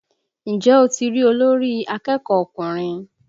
Ǹjẹ́ o ti rí olórí akẹ́kọ̀ọ́ ọkùnrin?